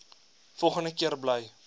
volgende keer bly